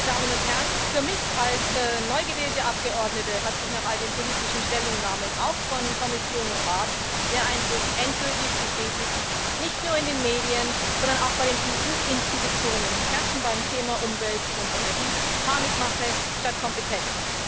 Sehr geehrte Damen und Herren! Für mich als neu gewählte Abgeordnete hat sich nach all den politischen Stellungnahmen, auch von Kommission und Rat, der Eindruck endgültig bestätigt Nicht nur in den Medien, sondern auch bei den EU Institutionen herrscht beim Thema Umwelt und Energie Panikmache statt Kompetenz.